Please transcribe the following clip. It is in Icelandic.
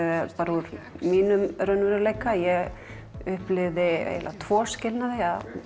úr mínum raunveruleika ég upplifði tvo skilnaði